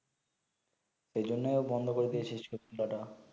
এই জন্যে বন্ধ করে দিয়েছে সে সব ডাটা